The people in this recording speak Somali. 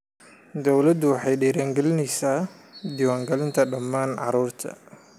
Dawladdu waxay dhiirigelinaysaa diiwaangelinta dhammaan carruurta.